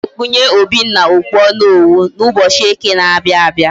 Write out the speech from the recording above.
Aga ekpunye Obinna okpu onowu na ubochi eke na abia abia